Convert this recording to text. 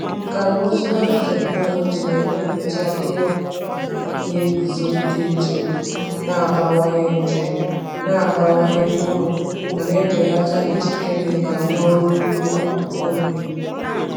Nkà na ụzụ biotechnology na-emepụta ihe ọkụkụ na-eguzogide nje, na-abawanye nje, na-abawanye mkpụrụ ma na-ebelata iji kemịkal n’ọrụ ugbo akwụkwọ nri.